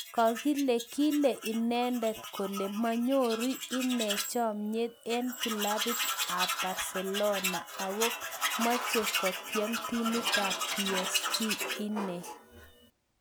Kakile kile inendet kole manyori inee chamyeet eng kilabit ab barselona ako machei kotiem timit ab psg inee